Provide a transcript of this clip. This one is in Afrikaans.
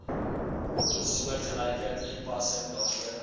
soortgelyke toepassing daarvoor